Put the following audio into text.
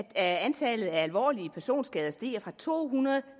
at antallet af alvorlige personskader stiger fra to hundrede